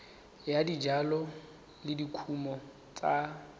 ya dijalo le dikumo tsa